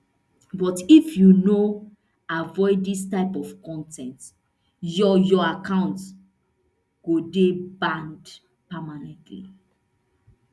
but if you no avoid dis type of con ten t your your account go dey banned permanently